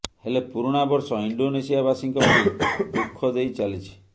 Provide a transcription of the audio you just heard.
ହେଲେ ପୁରୁଣା ବର୍ଷ ଇଣ୍ଡୋନେସିଆ ବାସୀଙ୍କ ପାଇଁ ଦୁଖଃ ଦେଇ ଚାଲିଛି